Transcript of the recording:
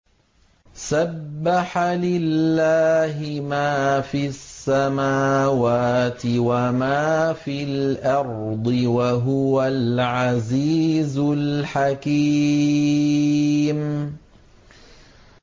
سَبَّحَ لِلَّهِ مَا فِي السَّمَاوَاتِ وَمَا فِي الْأَرْضِ ۖ وَهُوَ الْعَزِيزُ الْحَكِيمُ